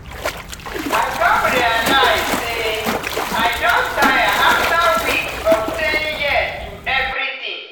i come realize say i don tire after weeks of saying yes to everything.